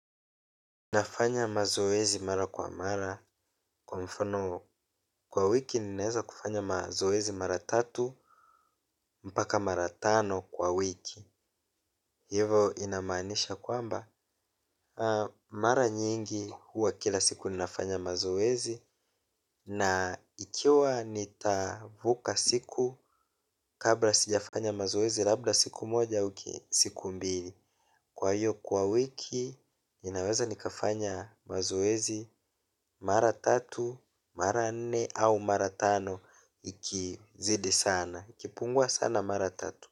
Nafanya mazoezi mara kwa mara kwa mfano kwa wiki ninaweza kufanya mazoezi mara tatu mpaka mara tano kwa wiki. Hivo inamanisha kwamba mara nyingi huwa kila siku ninafanya mazoezi na ikiwa nitavuka siku kabla sijafanya mazoezi labda siku moja au siku mbili. Kwa hiyo kwa wiki ninaweza nikafanya mazoezi mara tatu mara nne au mara tano ikizidi sana. Ikipungua sana mara tatu.